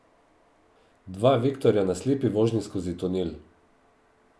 Dva vektorja na slepi vožnji skozi tunel.